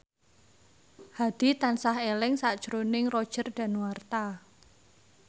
Hadi tansah eling sakjroning Roger Danuarta